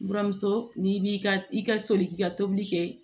Buramuso n'i b'i ka i ka soli k'i ka tobili kɛ